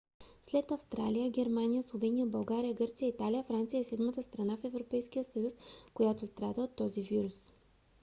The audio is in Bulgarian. след австрия германия словения българия гърция и италия франция е седмата страна в европейския съюз която страда от този вирус